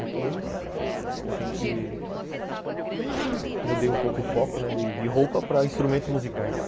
Depois, a gente...mudei um pouco o foco de roupa para instrumentos musicais.